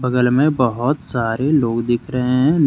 बगल में बहोत सारे लोग दिख रहे हैं नि--